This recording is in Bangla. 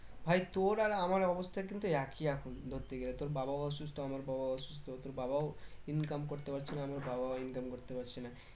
ভাই তোর আর আমার অবস্থা কিন্তু একই এখন ধরতে গেলে তোর বাবাও অসুস্থ আমার বাবাও অসুস্থ তোর বাবাও income করতে পারছে না আমার বাবাও income করতে পারছে না